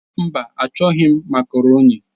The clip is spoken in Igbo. Mba, achọghị m makaroni.